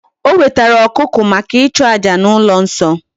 O wetara okuko maka ichu aja na ulo nso